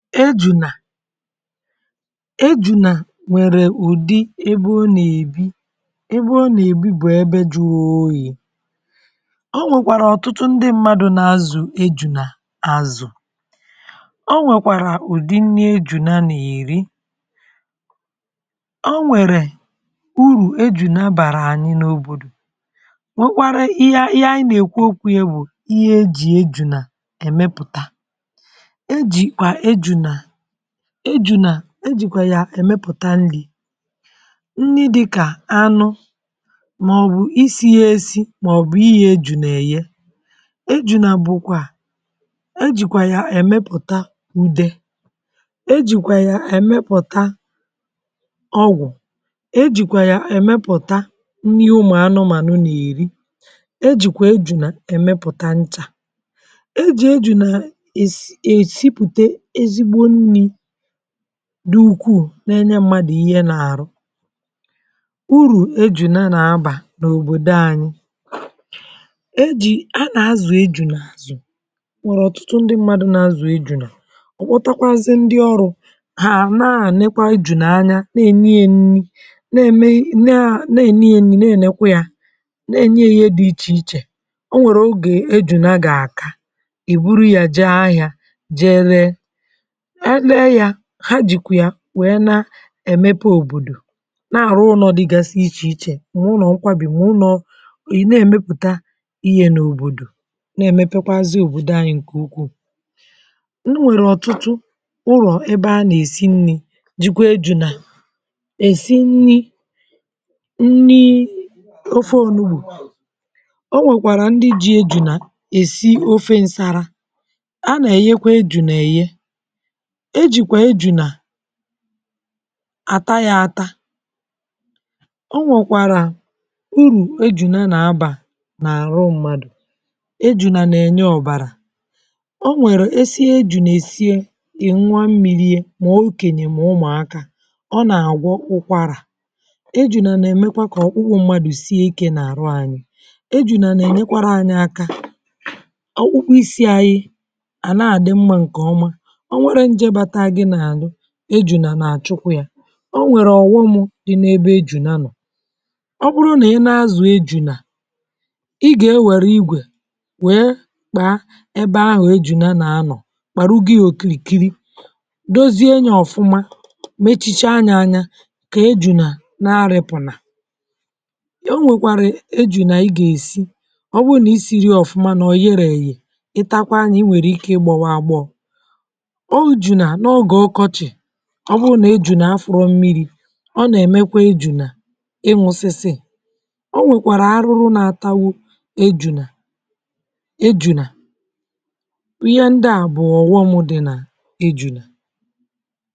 Ejunà Ejunà nwerè udị̀ ebè ọ na-ebì ebè ọ na-ebì bụ̀ ebe juru oyì. E nwekwarà ọtụtụ ndị mmadụ̀ na-azụ̀ ejunà azụ̀ O nwekwarà udì nni ejunà na-erì o nwerè urù ejunà barà anyị̀ n’òbodò nwekarà ihe, ihe anyị̀ na-ekwu okwu yà bụ̀ ihe e ji ejunà emeputà. E jikwà ejunà ejunà e jikwà yà emeputà nnì nnì dịkà anụ maọ̀bụ̀ isi yà esi maọ̀bụ̀ eghe ejunà eghè ejunà bụ̀kwà e jikwà yà emeputà udē e jikwà yà emeputà ọgwụ̀ e jikwà yà emeputà nnì ụmụ anụmanụ̀ na-erì e jikwà ejunà emeputà nchà e ji ejunà a esi, esipùte ezigbò nnì du ukwuù na-enye mmadụ̀ ihe n’arụ̀ uru ejunà na-abā n’obodo anyị̀ e ji, a na-azụ̀ ejunà azụ̀ nwụrụ̀ ọtụtụ ndị̀ mmadụ̀ na-azụ̀ ejunà owotukwazị̀ ndị̀ ọrụ̀ ha na-anị̀ kpa ejunà anya na-enye yà nnì na-eme, naa, na-enì yà nnì, na-enekwà yà na-enye yà ihe dị̀ iche ichè o nwere oge ejunà ga-akà i buru yà jee ahịà jee ree a nee yà, ha jikwi yà wee na emepe òbodò na-arụ̀ unọ̀ dịgasị̀ iche ichè ma ulọ̀ nkwabì, ma ụnọ ị na-emeputà ihe n’òbodò na-emepekwazị̀ òbodò anyị̀ nke ukwuù e nwere ọtụtụ ụlọ̀ ebe a na=esi nnì jikwà ejunà e si nni nnii ofe onugbù o nwekwarà ndị̀ ji ejunà esì ofe nsarà a na-eghekwà ejunà eghe e jukwà ejunà ata yà atà o nwekwarà uru ejunà na-aba n’arụ̀ mmadụ̀ ejunà na-enye ọbarà o nwere, e sie ejunà esie ị n̄ụà mmili ye ma okenye mà ụmụakà o na-agwọ̀ ụkwarà ejunà na-emekwà kà ọkpụkpụ mmadụ̀ sie ike n’arụ̀ anyị̀ ejunà na-enyekwara anyị̀ akà ọkpụkpụ isi anyị̀ a na-adị̀ mmà nke ọmà o nwere njē bata gì n’arụ̀ ejunà na-achụkwà yà o nwere ọghọmụ̀ dị n’ebe ejunà nọ̀ ọ bụrụ̀ na ị na-azụ̀ ejunà ị ga-ewere igwe wee kpaa ebe ahụ̀ ejunà na-anọ̀ kparugi yà okirikirì dozie nye ọfụmà mechicha nyà anyà ka ejunà na-rịpụnà o nwekware ejunà i ga-esì ọ bụnà i siri yà ọfụmà na o yere eghè ị takwa nyà i nwere ike i gbọwa agbọ̀ o junà n’oge ọkọchị̀ ọ bụrụ̀ na ejunà afụrọ̀ mmiri ọ na-emekwà ejunà ịnwụsịsị̀ o nwekwarà arụrụ̀ na-atagbù ejunà ejunà ihe ndị à bụ̀ ọghọm dị̀ nà ejunà